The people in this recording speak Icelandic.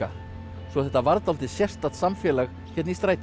svo þetta varð dálítið sérstakt samfélag hérna í strætinu